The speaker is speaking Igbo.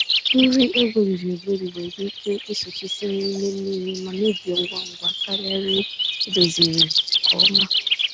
Nri egweriri-egweri nwere ike ịsụchisi n'ime mmiri ma mebie ngwa ngwa karịa nri edoziziri nke ọma.